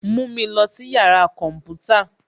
Mú mi lọ sí yàrá kọ̀ḿpútà